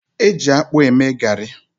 Eji akpụ eme garị.